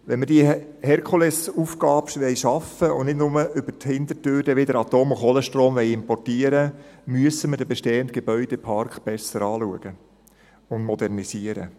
Wenn wir diese Herkulesaufgabe schaffen wollen und nicht nur über die Hintertür wieder Atom- und Kohlestrom importieren wollen, müssen wir den bestehenden Gebäudepark besser anschauen und modernisieren.